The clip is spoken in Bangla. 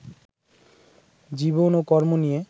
জীবন ও কর্ম নিয়ে